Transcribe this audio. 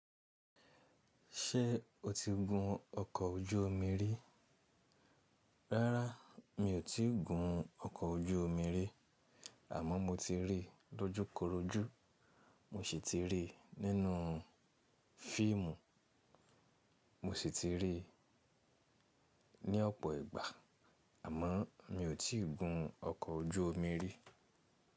Ṣé o ti gun ọkọ̀ ojú omi rí? Rárá, mi ò tíì gun ọkọ̀ ojú omi rí. Àmọ́ mo ti rí lọ́júkorojú. Mo sì ti rí nínú fíìmù. Mo sì ti rí ní ọ̀pọ̀ ìgbà, àmọ́ mi ò tíì gun ọkọ̀ ojú omi rí.